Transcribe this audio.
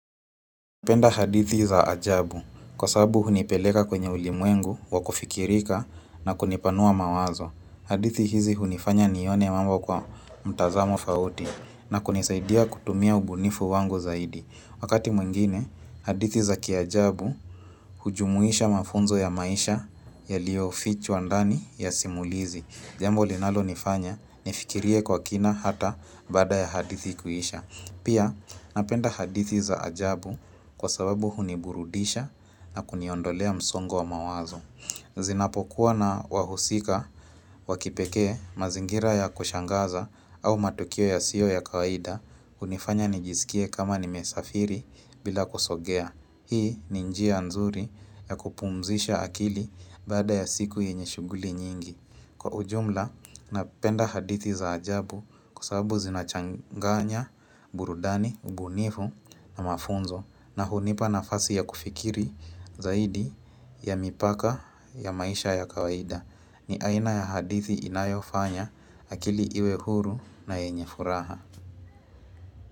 Napenda hadithi za ajabu kwa sababu hunipeleka kwenye ulimwengu wa kufikirika na kunipanua mawazo. Hadithi hizi hunifanya nione mamba kwa mtazamo tofauti na kunisaidia kutumia ubunifu wango zaidi. Wakati mwingine, hadithi za kiajabu hujumuisha mafunzo ya maisha ya liyo fichwa ndani ya simulizi. Jambo linalo nifanya, nifikirie kwa kina hata baada ya hadithi kuisha. Pia napenda hadithi za ajabu kwa sababu huniburudisha na kuniondolea msongo wa mawazo. Zinapokuwa na wahusika wakipekee mazingira ya kushangaza au matukio yasiyo ya kawaida hunifanya nijisikie kama ni mesafiri bila kusogea. Hii ni njia nzuri ya kupumzisha akili baada ya siku yenye shughuli nyingi. Kwa ujumla, napenda hadithi za ajabu kwa sababu zinachanganya, burudani, ubunifu na mafunzo na hunipa nafasi ya kufikiri zaidi ya mipaka ya maisha ya kawaida. Ni aina ya hadithi inayofanya akili iwe huru na yenye furaha.